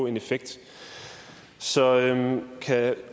en effekt så kan